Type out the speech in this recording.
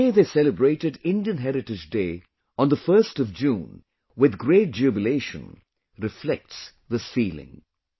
The way they celebrated Indian Heritage Day on the 1st of June with great jubilation reflects this feeling